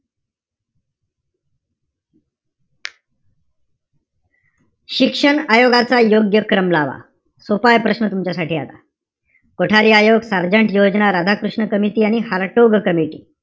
शिक्षण आयोगाचा योग्य क्रम लावा. सोपाय प्रश्न तुमच्यासाठी आता कोठारी आयोग, सार्जेन्ट योजना, राधाकृष्ण कमिटी आणि हारटोक कमिटी,